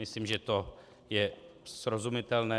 Myslím, že to je srozumitelné.